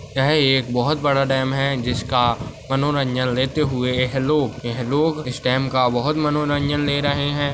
यह एक बहुत बड़ा डैम है जिसका मनोरंजन लेते हुए यह लोग यह लोग इस डैम का बहुत मनोरंजन ले रहे है।